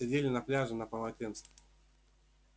сидели на пляже на полотенцах